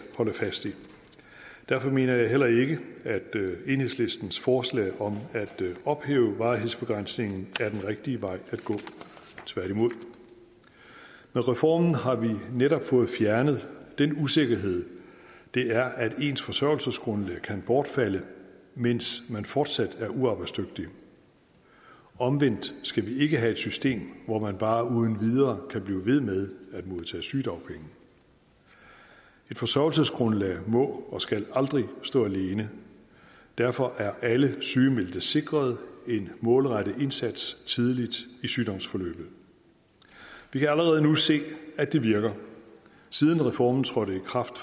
holde fast i derfor mener jeg heller ikke at enhedslistens forslag om at ophæve varighedsbegrænsningen er den rigtige vej at gå tværtimod med reformen har vi netop fået fjernet den usikkerhed det er at ens forsørgelsesgrundlag kan bortfalde mens man fortsat er uarbejdsdygtig omvendt skal vi ikke have et system hvor man bare uden videre kan blive ved med at modtage sygedagpenge et forsørgelsesgrundlag må og skal aldrig stå alene derfor er alle sygemeldte sikret en målrettet indsats tidligt i sygdomsforløbet vi kan allerede nu se at det virker siden reformen trådte i kraft